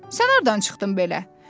Sən hardan çıxdın belə?